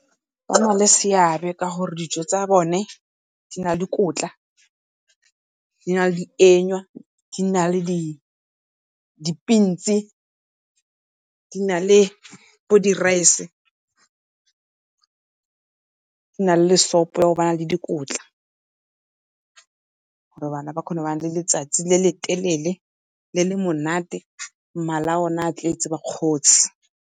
Ba na le seabe gore dijo tsa bone di na le dikotla, di na le dienywa, di na le di-beans, di na le bo di-rice di na le sopo ya o ho bana le dikotla, gore bana ba kgone go nna le letsatsi le le telele le le monate, mala a bone a tletse, ba kgotse.